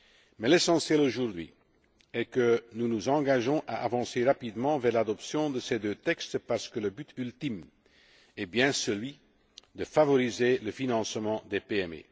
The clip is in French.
Mais l'essentiel, aujourd'hui, est que nous nous engagions à avancer rapidement vers l'adoption de ces deux textes, parce que le but ultime est bien celui de favoriser le financement des